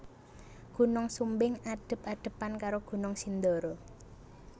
Gunung Sumbing adhep adhepan karo Gunung Sindoro